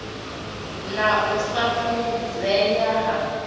na u sa fhungudzea ha